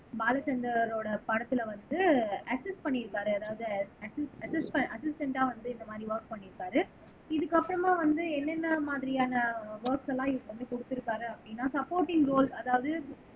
பாலச்சந்தரோட படத்துல வந்து அஸ்சிஸ்ட் பண்ணி இருக்காரு அதாவது அஸ்சிஸ் அஸ்சிஸ அஸ்சிஸ்ட்டண்டா வந்து இந்த மாதிரி வொர்க் பண்ணியிருக்காரு இதுக்கப்புறமா வந்து என்னென்ன மாதிரியான வொர்க்ஸ் எல்லாம் வந்து, குடுத்திருக்காரு அப்படின்னா சப்போர்டிங் ரோல் அதாவது